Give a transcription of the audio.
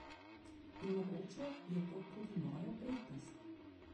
In mogoče je to tudi moja prednost.